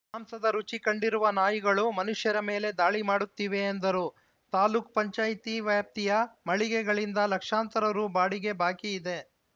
ಮಾಂಸದ ರುಚಿ ಕಂಡಿರುವ ನಾಯಿಗಳು ಮನುಷ್ಯರ ಮೇಲೆ ದಾಳಿ ಮಾಡುತ್ತಿವೆ ಎಂದರು ತಾಲೂಕ್ ಪಂಚಾಯತಿ ವ್ಯಾಪ್ತಿಯ ಮಳಿಗೆಗಳಿಂದ ಲಕ್ಷಾಂತರ ರು ಬಾಡಿಗೆ ಬಾಕಿ ಇದೆ